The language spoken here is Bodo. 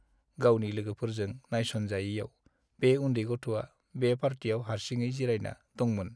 गावनि लोगोफोरजों नायस'नजायैयाव बे उन्दै गथ'आ बे पार्टियाव हारसिङै जिरायना दंमोन।